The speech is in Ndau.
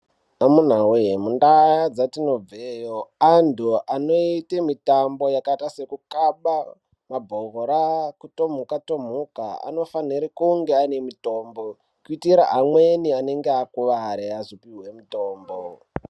Amunawee muntaa dzatinobveyo, antu anoite mitambo yakaita sekukhaba mabhora , kutomuka - tomuka anofanire kunge aine mitombo, kuitira amweni anenge akuware ,azopiwe mitombo.